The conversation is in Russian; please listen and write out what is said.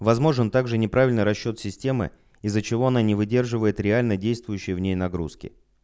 возможен также неправильный расчёт системы из-за чего она не выдерживает реально действующей в ней нагрузки